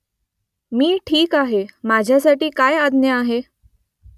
मी ठीक आहे माझ्यासाठी काय आज्ञा आहे ?